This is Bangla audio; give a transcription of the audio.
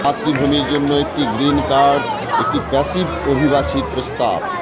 মাতৃভূমির জন্য একটি গ্রীন কার্ড একটি প্যাসিভ অভিবাসী প্রস্তাব